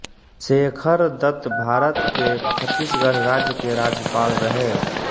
शेखर दत्त भारत के छत्तीसगढ़ राज्य के राज्यपाल रहे